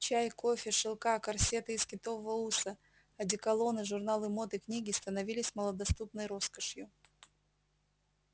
чай кофе шелка корсеты из китового уса одеколоны журналы мод и книги становились малодоступной роскошью